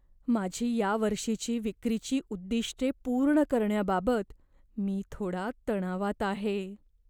माझी या वर्षीची विक्रीची उद्दिष्टे पूर्ण करण्याबाबत मी थोडा तणावात आहे.